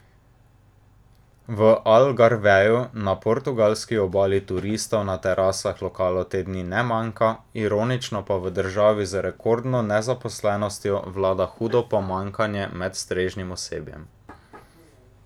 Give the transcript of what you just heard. V Algarveju na portugalski obali turistov na terasah lokalov te dni ne manjka, ironično pa v državi z rekordno nezaposlenostjo vlada hudo pomanjkanje med strežnim osebjem.